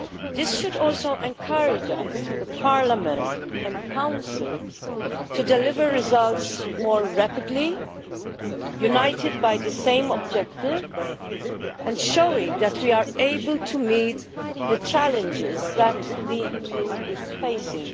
This should also encourage us, Parliament and the Council to deliver results more rapidly, united by the same objective and showing that we are able to meet the challenges that the EU is facing.